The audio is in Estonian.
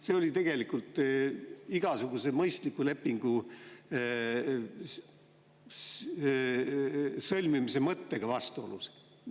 See oli tegelikult igasuguse mõistliku lepingu sõlmimise mõttega vastuolus.